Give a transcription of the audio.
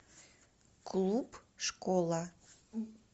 клуб школа